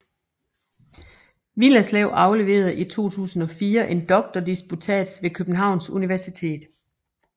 Willerslev afleverede i 2004 en doktordisputats ved Københavns Universitet